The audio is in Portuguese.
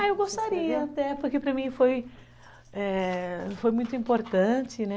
Ah, eu gostaria até, porque para mim foi, eh, foi muito importante, né?